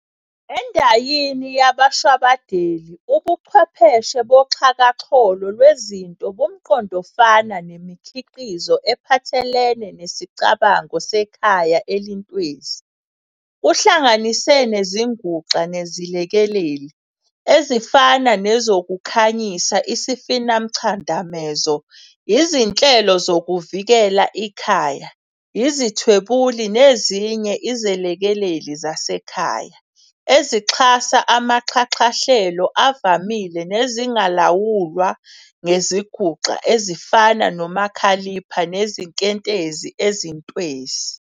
Endayini yabashwabadeli, ubuchwepheshe boxhakaxholo lwezinto bumqondofana nemikhiqizo ephathelene nesicabango "sekhaya elintwesi", kuhlanganise nezinguxa nezilekeleli, ezifana nezokukhanyisa, isifinamchadamezo, izinhlelo zokuvikela ikhaya, izithwebuli, nezinye iziLekeleli zasekhaya, ezixhasa amaxhaxhahlelo avamile, nezingalawulwa ngezinguxa ezifana nomakhalipha nezinkentezi ezintwesi.